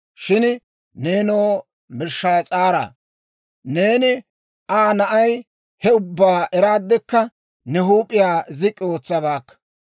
«Shin nenoo, Belshshaas'aara, neeni Aa na'ay he ubbaa eraaddekka, ne huup'iyaa zik'k'i ootsabaakka.